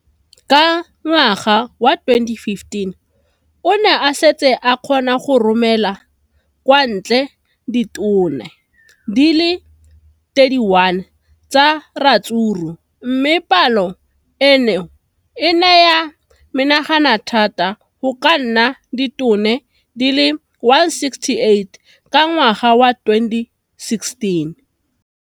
Ka ngwaga wa 2015, o ne a setse a kgona go romela kwa ntle ditone di le 31 tsa ratsuru mme palo eno e ne ya menagana thata go ka nna ditone di le 168 ka ngwaga wa 2016.